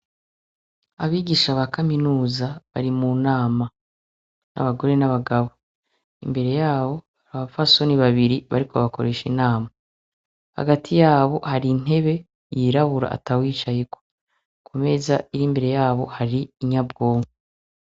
Abigisha ba kaminuza bari mu nama, abagore n'abagabo. Imbere yabo, abapfasoni babiri bariko bakoresha inama. Hagati yabo hari intebe yirabura atawicayeko, ku meza iri imbere yabo hari inyabwonko.